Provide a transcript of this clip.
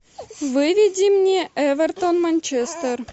выведи мне эвертон манчестер